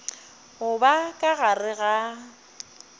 go ba ka gare ga